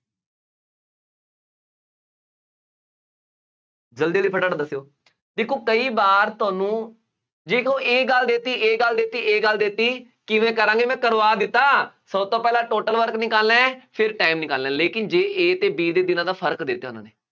ਜਲਦੀ ਜਲਦੀ ਫਟਾਫਟ ਦੱਸਿਉ, ਦੇਖੋ ਕਈ ਵਾਰ ਤੁਹਾਨੂੰ, ਜੇ ਕਹੋ ਇਹ ਗੱਲ ਦੇ ਦਿੱਤੀ, ਇਹ ਗੱਲ ਦਿੱਤੀ, ਇਹ ਗੱਲ ਦਿੱਤੀ, ਕਿਵੇਂ ਕਰਾਂਗੇ, ਮੈਂ ਕਰਵਾ ਦਿੱਤਾ, ਸਭ ਤੋਂ ਪਹਿਲਾਂ total work ਨਿਕਾਲਣਾ ਹੈ, ਫਿਰ time ਨਿਕਾਲਣਾ, ਲੇਕਿਨ ਜੇ A ਅਤੇ B ਦੇ ਦਿਨਾਂ ਦਾ ਫਰਕ ਦਿੱਤਾ, ਉਹਨਾ ਨੇ